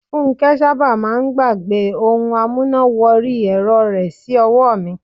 Funke sábà máà ń gbàgbẹ́ ohun amúná wọrí ẹ̀rọ rẹ̀ sí ọwọ́ mi.